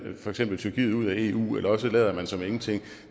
for eksempel tyrkiet ud af eu eller også lader man som ingenting